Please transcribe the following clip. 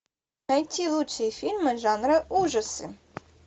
найти лучшие фильмы жанра ужасы